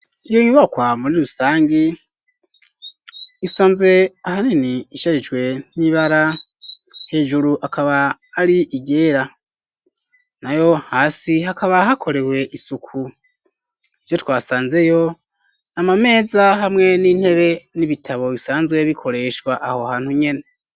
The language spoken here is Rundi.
Iyo nyubakwa muri rusangi isanzwe aha neni ishajijwe n'ibara hejuru akaba ari igera na yo hasi hakaba hakorewe isuku ijo twasanzeyo amameza hamwe n'intebe n'ibitabo bisanzwe bikoreshwa aho haa untu nyene.